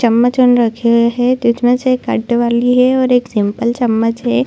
चम्मच उन रखे हुए है जिसमें से कांटे वाली है और एक सिम्पल चम्मच हैं।